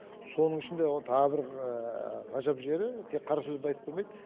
соның ішінде тағы бір ғажап жері тек қара сөзді айтып қоймайды